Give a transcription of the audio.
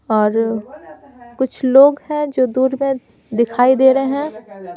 और कुछ लोग हैं जो दूर में दिखाई दे रहे हैं ।